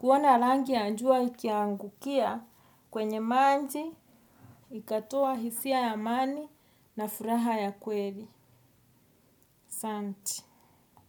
Kuona langi ya njua ikiangukia kwenye manji ikatoa hisia ya amani na furaha ya kweri. Santi.